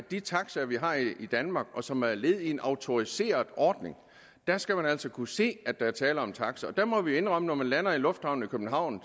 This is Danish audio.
de taxaer vi har i danmark og som er led i en autoriseret ordning skal man altså kunne se at der er tale om en taxa og der må vi indrømme at når man lander i lufthavnen i københavn